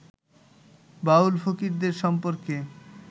বাউল-ফকিরদের সম্পর্কে